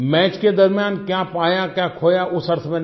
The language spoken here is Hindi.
मैच के दरमियाँ क्या पाया क्या खोया उस अर्थ में नहीं